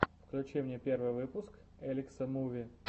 включи мне первый выпуск элекса муви